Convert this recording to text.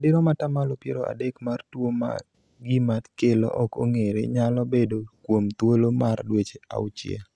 madirom atamalo piero adek mar tuo ma gima kelo ok ong'ere nyalo bedo kuom thuolo mar dweche auchiel